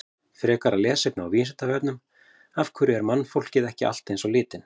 Frekara lesefni á Vísindavefnum: Af hverju er mannfólkið ekki allt eins á litinn?